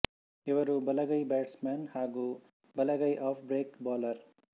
ಇವರು ಬಲಗೈ ಬ್ಯಾಟ್ಸಮಾನ್ ಹಾಗು ಬಲಗೈ ಆಫ್ ಬ್ರೇಕ್ ಬೌಲರ್